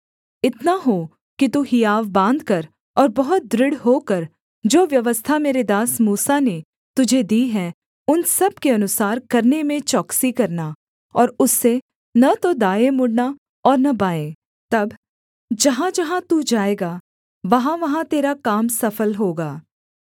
इतना हो कि तू हियाव बाँधकर और बहुत दृढ़ होकर जो व्यवस्था मेरे दास मूसा ने तुझे दी है उन सब के अनुसार करने में चौकसी करना और उससे न तो दाएँ मुड़ना और न बाएँ तब जहाँजहाँ तू जाएगा वहाँवहाँ तेरा काम सफल होगा